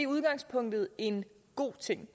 udgangspunkt en god ting